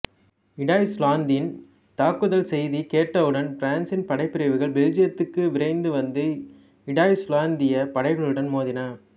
இடாய்ச்சுலாந்தின் தாக்குதல் செய்தி கேட்டவுடன் பிரான்சின் படைப்பிரிவுகள் பெல்ஜியத்துக்கு விரைந்து வந்து இடாய்ச்சுலாந்தியப் படைகளுடன் மோதின